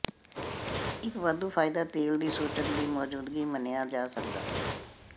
ਇੱਕ ਵਾਧੂ ਫਾਇਦਾ ਤੇਲ ਦੀ ਸੂਚਕ ਦੀ ਮੌਜੂਦਗੀ ਮੰਨਿਆ ਜਾ ਸਕਦਾ ਹੈ